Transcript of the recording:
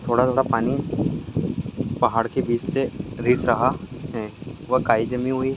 थोडा थोडा पानी पहाड़ के बिच से रिस रहा है और काई जमी हुई।